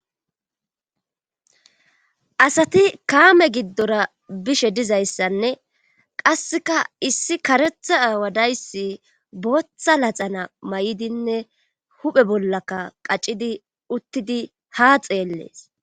asati kaame giddora bishe dizayssanne qasseka issi karetha aawadayssi booththa laxana may7idinne huphe bollaka qacidi uttidi ha xeellees